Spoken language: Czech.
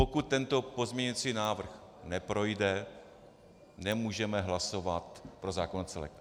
Pokud tento pozměňující návrh neprojde, nemůžeme hlasovat pro zákon jako celek.